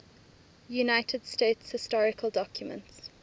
united states historical documents